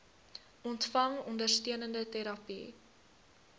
ontvang ondersteunende terapie